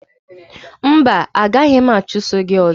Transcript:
Mba, a gaghị m achụso gị ọzọ